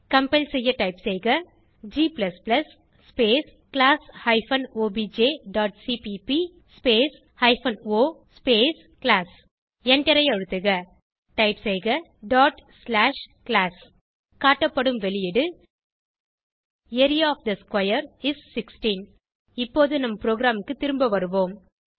compile செய்ய type செய்க g space class hyphen obj dot CPP space hyphen o space class எண்டரை அழுத்துக type செய்க class எண்டரை அழுத்துக காட்டப்படும் வெளியீடு area of the square is 16 இப்போது நம் ப்ரோகிராமுக்கு திரும்ப வருவோம்